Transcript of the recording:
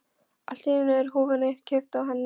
Allt í einu er húfunni kippt af henni!